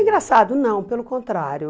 Engraçado, não, pelo contrário.